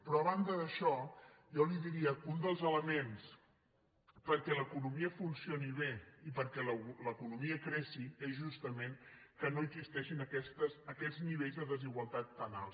però a banda d’això jo li diria que un dels elements perquè l’economia funcioni bé i perquè l’economia creixi és justament que no existeixin aquests nivells de desigualtat tan alts